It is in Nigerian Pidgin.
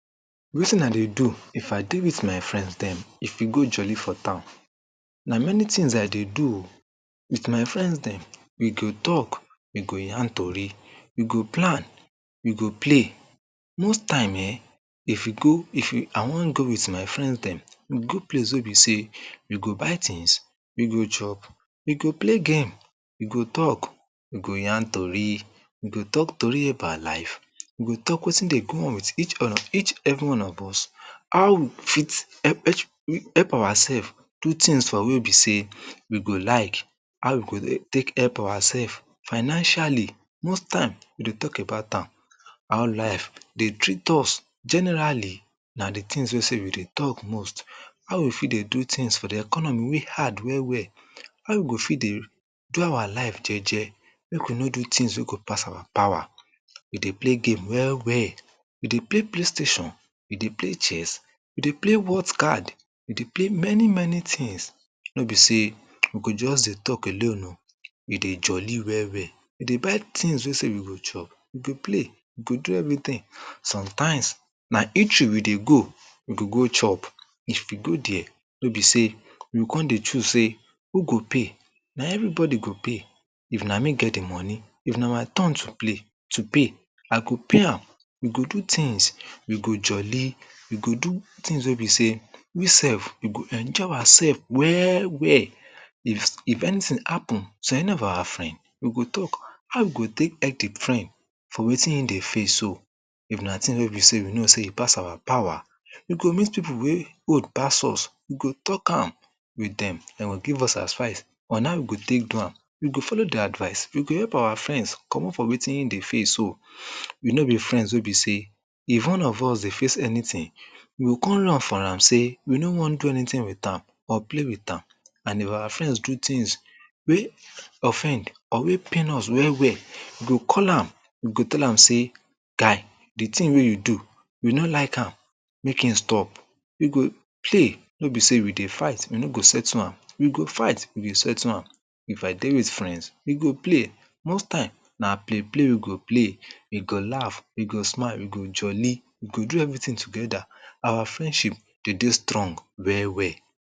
wetin I dey do if I dey with I dey with my friends dem go jolloy for town, na many things I dey do